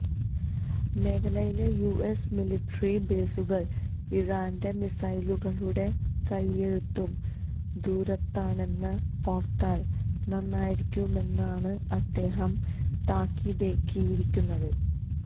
മേഖലയിലെ US military ബേസുകള് ഇറാന്റെ മിസൈലുകളുടെ കൈയെത്തും ദൂരത്താണെന്ന് ഓര്ത്താല് നന്നായിരിക്കുമെന്നാണ് അദ്ദേഹം താക്കീതേകിയിരിക്കുന്നത്